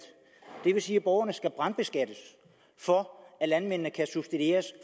det vil sige at borgerne skal brandskattes for at landmændene kan blive subsidieret